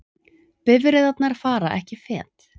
Bifreiðarnar fara ekki fet